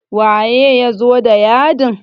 waye ya zo da yadin?